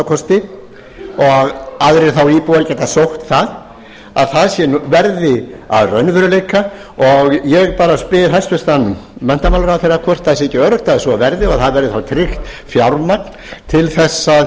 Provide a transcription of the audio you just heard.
kosti og aðrir þá íbúar geta sótt það að það verði að raunveruleika og ég bara spyr hæstvirtur menntamálaráðherra hvort það sé ekki öruggt að svo verði og það verði þá tryggt fjármagn til þess að